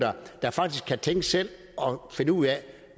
der faktisk kan tænke selv og finde ud af